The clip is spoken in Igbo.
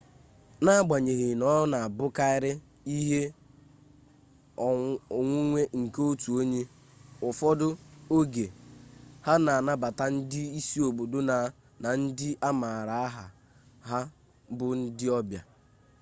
n'agbanyeghị na ọ na-abụkarị ihe onwunwe nke otu onye ụfọdụ oge ha na-anabata ndị isi obodo na ndị a maara aha ha bụ ndị ọbịa